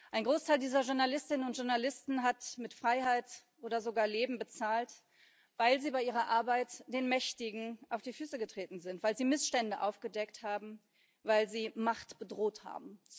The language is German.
Ein Großteil dieser Journalistinnen und Journalisten hat mit Freiheit oder sogar Leben bezahlt, weil sie bei ihrer Arbeit den Mächtigen auf die Füße getreten sind, weil sie Missstände aufgedeckt haben, weil sie Macht bedroht haben.